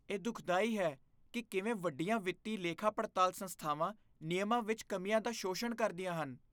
ਇਹ ਦੁਖਦਾਈ ਹੈ ਕਿ ਕਿਵੇਂ ਵੱਡੀਆਂ ਵਿੱਤੀ ਲੇਖਾਪੜਤਾਲ ਸੰਸਥਾਵਾਂ ਨਿਯਮਾਂ ਵਿੱਚ ਕਮੀਆਂ ਦਾ ਸ਼ੋਸ਼ਣ ਕਰਦੀਆਂ ਹਨ।